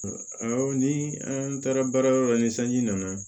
ni an taara baara yɔrɔ la ni sanji nana